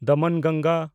ᱫᱚᱢᱚᱱᱜᱟᱝᱜᱟ